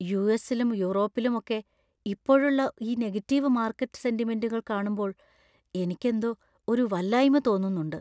യുഎസിലും യൂറോപ്പിലും ഒക്കെ ഇപ്പോഴുള്ള ഈ നെഗറ്റീവ് മാർക്കറ്റ് സെന്റിമെന്റുകൾ കാണുമ്പോൾ എനിക്കെന്തോ ഒരു വല്ലായ്മ തോന്നുന്നുണ്ട്.